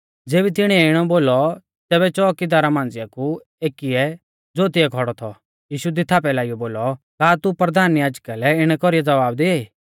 ज़ेबी तिणीऐ इणौ बोलौ तैबै च़ोउकीदारा मांझ़िआ कु एकीऐ ज़ो तिऐ खौड़ौ थौ यीशु दी थापै लाइयौ बोलौ का तू परधान याजका लै इणै कौरीऐ ज़वाब दिआई